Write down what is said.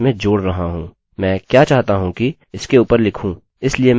मैं क्या चाहता हूँ कि इसके ऊपर लिखूँ इसलिए मैं w रखूँगा